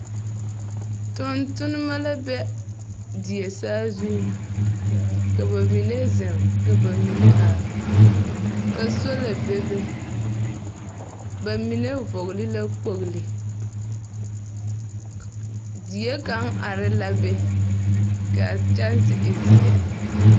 Tontonema la be die saa zuŋ. Ka ba mine zeŋ ka ba mine are, ka sola bebe. Ba mine vɔgle la kpogli. K die kaŋ are la be, ka a kyɛnse e zeɛ.